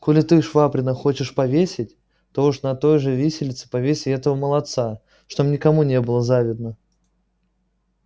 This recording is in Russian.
коли ты швабрина хочешь повесить то уж на той же виселице повесь и этого молодца чтоб никому не было завидно